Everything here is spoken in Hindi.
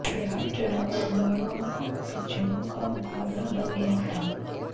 बिहार चुनाव अगड़ों और पिछड़ों का मुकाबला बन गया था